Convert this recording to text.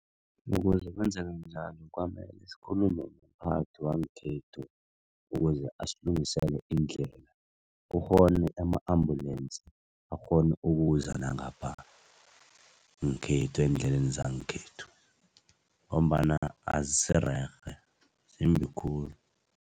Ukuze kwenzake njalo kwamele sikhulume nomphathi wangekhethu, ukuze asilungisele iindlela kukghone ama ambulensi akghone ukuza nangapha ngekhethwa eendleleni zangekhethu ngombana azisirerhe zimbi khulu.